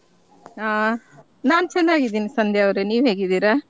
ಆಹ್ ನಾನ್ ಚೆನ್ನಾಗಿದೀನಿ ಸಂಧ್ಯಾ ಅವ್ರೇ ನೀವ್ ಹೇಗಿದ್ದೀರಾ?